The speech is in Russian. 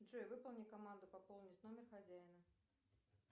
джой выполни команду пополнить номер хозяина